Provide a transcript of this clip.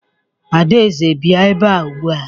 Adaeze bia ebea ugbua